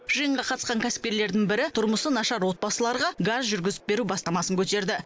жиынға қатысқан кәсіпкерлердің бірі тұрмысы нашар отбасыларға газ жүргізіп беру бастамасын көтерді